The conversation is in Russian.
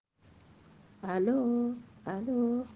алло алло